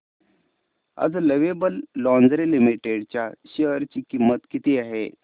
आज lovable lingerie limited च्या share ची किंमत किती आहे